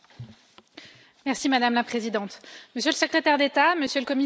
Madame la Présidente, Monsieur le Secrétaire d'État, Monsieur le Commissaire, chers collègues,